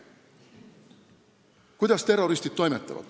Kuidas terroristid toimetavad?